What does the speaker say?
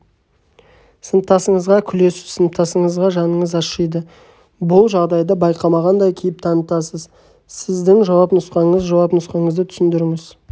сыныптасыңызға күлесіз сыныптасыңызға жаныңыз ашиды бұл жағдайды байқамағандай кейіп танытасыз сіздің жауап нұсқаңыз жауап нұсқаңызды түсіндіріңіз